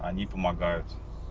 они помогают